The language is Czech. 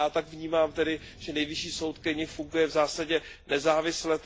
Já tak vnímám, že Nejvyšší soud Keni funguje v zásadě nezávisle.